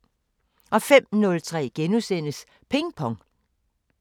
05:03: Ping Pong *